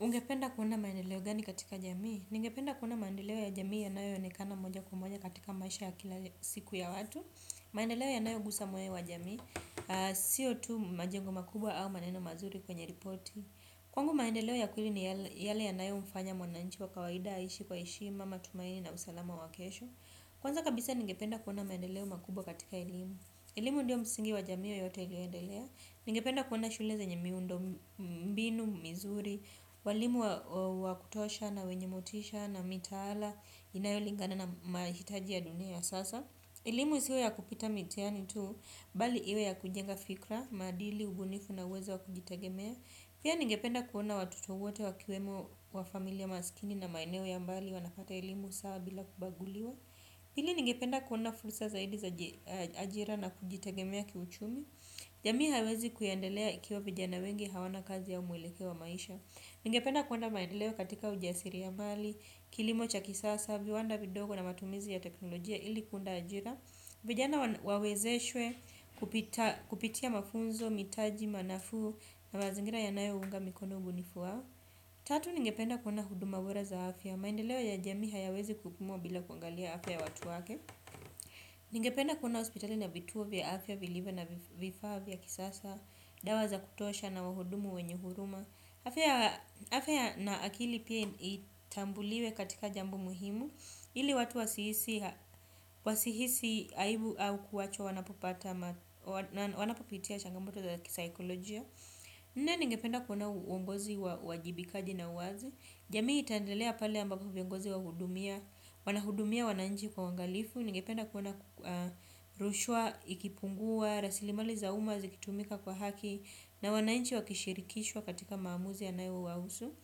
Ungependa kuona maendeleo gani katika jamii? Ningependa kuona maendeleo ya jamii yanayonekana moja kwa moja katika maisha ya kila siku ya watu. Maendeleo yanayo gusa moyo wa jamii, siotu majengo makubwa au maneno mazuri kwenye ripoti. Kwangu maendeleo ya kueli ni yale yanayo mfanya mwananchi wa kawaida, aishi, kwa eshima matumaini na usalama wa kesho. Kwanza kabisa ningependa kuona maendeleo makubwa katika elimu. Elimu ndio msingi wa jamii yote iliendelea. Ningependa kuona shule zanye miundo, mbinu, mizuri, walimu wa kutosha na wenye motisha na mitaala, inayolingana na mahitaji ya dunia ya sasa. Elimu isiwe ya kupita mitiyani tu, bali iwe ya kujenga fikra, madili, ubunifu na uwezo wa kujitegemea. Pia ningependa kuona watoto wote wa kiwemo wa familia masikini na maeneo ya mbali wanapata elimu sawa bila kubaguliwa. Pili ningependa kuona fulsa zaidi za ajira na kujitagemea kiuchumi. Jami haiwezi kuyandelea ikiwa vijana wengi hawana kazi au muilekeo wa maisha. Ninge penda kuwona maendelewo katika ujasiri ya mali, kilimocha kisasa, viwanda vidogo na matumizi ya teknolojia ili kunda ajira. Vijana wawezeshwe kupitia mafunzo, mitaji, manafu na mazingira ya nayo uunga mikono ubunifu wao. Tatu ninge penda kuwona huduma bora za afya. Maendelewo ya jami hayawezi kupimwa bila kuangalia afya ya watu wake. Ningependa kuona hospitali na vituo vya afya, vilivio na vifaa vya kisasa, dawa za kutosha na wahudumu wenyehuruma. Afya na akili pia itambuliwe katika jambo muhimu, ili watu wasihisi haibu au kuwachwa wanapopata, wanapopitia changamoto za kisaikolojia. Nne ningependa kuona uongozi uwajibikaji na uwazi. Jamii itandelea pale ambako vingozi wa hudumia wanahudumia wananji kwa wangalifu. Ningependa kuona rushwa, ikipungua, rasilimali zauma zikitumika kwa haki. Na wananji wakishirikishwa katika maamuzi yanayo wawusu.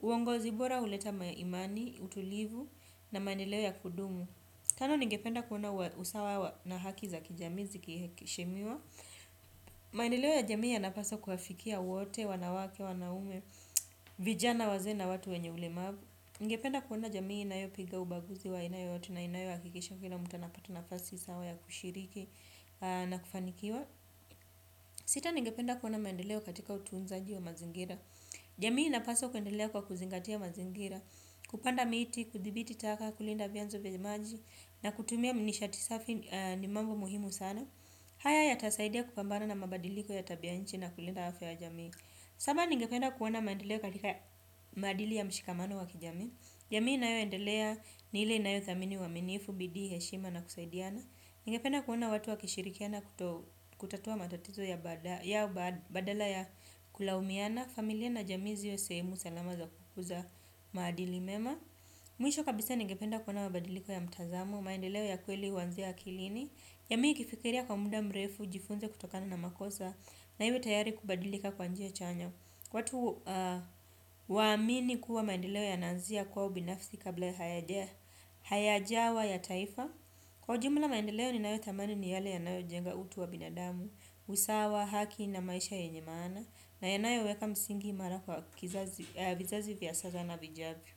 Uongozi bora uleta maimani, utulivu na maendeleo ya kudumu. Kando ningependa kuona usawa na haki za kijami zikishemiwa. Maendeleo ya jamii ya napasa kuafikia wote, wanawake, wanaume vijana wazena watu wenye ulemavu ningependa kuona jamii inayopiga ubaguzi wa aina yoyote na inayo akikisha kila muta anapata na fasi sawa ya kushiriki na kufanikiwa sita ningependa kuona maendeleo katika utuunzaji wa mazingira jamii inapaswa kuendelea kwa kuzingatia mazingira kupanda miti, kudhibiti taka kulinda vianzo venye maji na kutumia minishatisafi ni mambo muhimu sana haya ya tasaidia kupambana na mabadiliko ya tabianchi na kulinda hafia wa jamii. Saba ningependa kuwona maendeleo katika madili ya mshikamano wa kijami. Jamii na yo endelea nile inayo thamini uwaminifu, bidi, heshima na kusaidiana. Ningependa kuwona watu wa kishirikiana kutatua matatizo ya badala ya kulawumiana. Familia na jami ziwe sehemu salama za kukuza madili mema. Mwisho kabisa ningependa kuwona mabadiliko ya mtazamo, maendeleo ya kweli wanzia akilini. Jamii ikifikiria kwa muda mrefu jifunze kutokana na makoza na iwe tayari kubadilika kwa njia chanya. Watu waamini kuwa maendeleo ya nanzia kwa ubinafsi kabla ya hayajawa ya taifa. Kwa jumla maendeleo ni nayo tamani ni yale yanao jenga utu wa binadamu, usawa, haki na maisha yenyemana. Na yanayo weka msingi mara kwa vizazi vyasaza na vijavio.